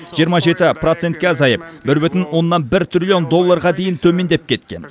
жиырма жеті процентке азайып бір бүтін оннан бір триллион долларға дейін төмендеп кеткен